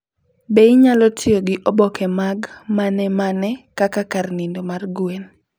Be inyalo tiyo gi oboke mag manemane kaka kar nindo mar gwen?